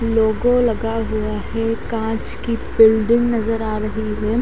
लोगो लगा हुआ है कांच की बिल्डिंग नजर आ रही है।